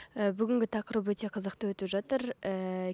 ііі бүгінгі тақырып өте қызықты өтіп жатыр ііі